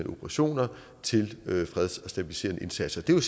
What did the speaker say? operationer til freds og stabiliserende indsatser det er